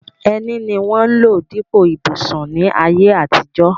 Ẹní ni wọ́n ń lò dípò ìbùsùn ní ayé àtijọ́.